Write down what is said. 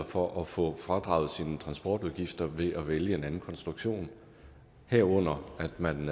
for at få fradraget sine transportudgifter ved at vælge en anden konstruktion herunder at man